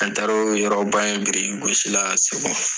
An taara o yɔrɔba in biiriki gosi la segu yen.